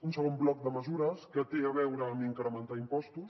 un segon bloc de mesures que té a veure amb incrementar impostos